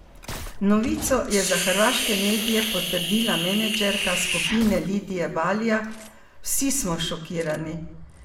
Novico je za hrvaške medije potrdila menedžerka skupine Lidija Balija: "Vsi smo šokirani.